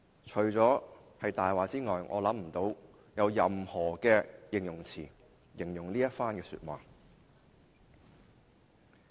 除了說這是謊話外，我想不到其他形容詞來描述這番話。